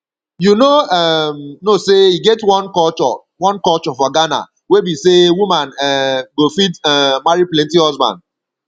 you no um know say e get one culture one culture for ghana wey be say woman um go fit um marry plenty husband